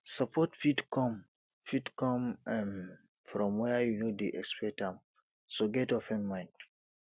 support fit come fit come um from where you no dey expect am so get open mind